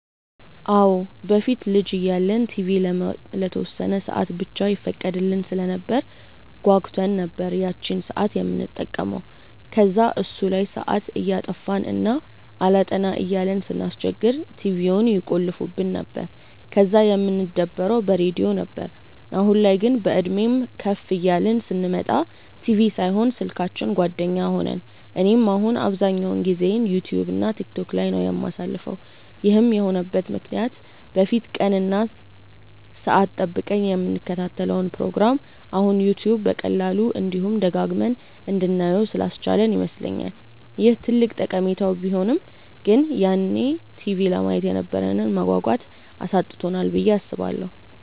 አዎ። በፊት ልጅ እያለን ቲቪ ለተወሰነ ሰአት ብቻ ይፈቀድልን ስለነበር ጓጉተን ነበር ያቺን ሰአት የምንጠብቀው። ከዛ እሱ ላይ ሰአት እያጠፋን እና አላጠና እያልን ስናስቸግር ቲቪውን ይቆልፉብን ነበር፤ ከዛ የምንደበረው በሬድዮ ነበር። አሁን ላይ ግን፤ በእድሜም ከፍ እያልን ስንመጣ ቲቪ ሳይሆን ስልካችን ጓደኛ ሆነን። እኔም አሁን አብዛኛውን ጊዜዬን ዩትዩብ እና ቲክቶክ ላይ ነው የማሳልፈው። ይህም የሆነበት ምክንያት በፊት ቀን እና ሰአት ጠብቀን የምንከታተለውን ፕሮግራም አሁን ዩትዩብ በቀላሉ፤ እንዲሁም ደጋግመን እንድናየው ስላስቻለን ይመስለኛል። ይህ ትልቅ ጠቀሜታው ቢሆንም ግን ያኔ ቲቪ ለማየት የነበረንን መጓጓት አሳጥቶናል ብዬ አስባለሁ።